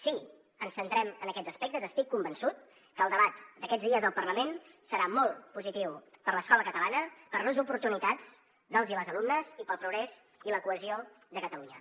si ens centrem en aquests aspectes estic convençut que el debat d’aquests dies al parlament serà molt positiu per a l’escola catalana per a les oportunitats dels i les alumnes i per al progrés i la cohesió de catalunya